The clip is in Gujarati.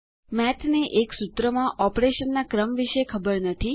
મેઠને એક સૂત્રમાં ઓપરેશનના ક્રમ વિશે ખબર નથી